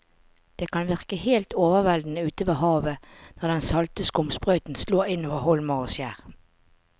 Det kan virke helt overveldende ute ved havet når den salte skumsprøyten slår innover holmer og skjær.